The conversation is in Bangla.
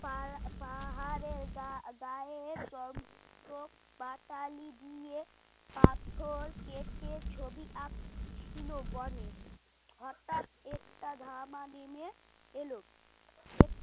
পাহাড় পাহাড়ের গা গায়ে যন্ত্রপাতিলি দিয়ে পাথর কেটে ছবি আঁকছিল গণেশ হঠাৎ একটা ধামা নেমে এল